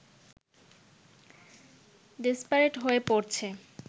desperate হয়ে পড়ছে